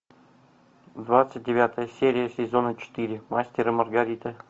двадцать девятая серия сезона четыре мастер и маргарита